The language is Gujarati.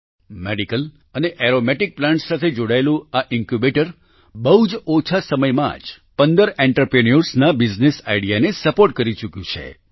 મેડિસિનલ અને એરોમેટિક પ્લાન્ટ્સ સાથે જોડાયેલું આ ઈન્ક્યૂબેટર બહુ જ ઓછા સમયમાં જ 15 આંત્રપ્રિન્યોર્સ ના બિઝનેસ આઈડિયાને સપોર્ટ કરી ચૂક્યું છે